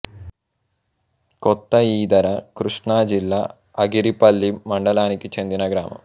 కొత్త ఈదర కృష్ణా జిల్లా అగిరిపల్లి మండలానికి చెందిన గ్రామం